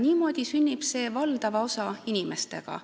Niimoodi sünnib see valdava osa inimestega.